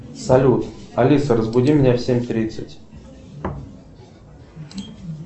салют алиса разбуди меня в семь тридцать